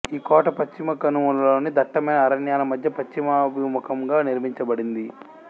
ఈ కోట పశ్చిమకనుమలలోని దట్టమైన అరణ్యాల మధ్య పశ్చిమాభిముఖంగా నిర్మించబడింది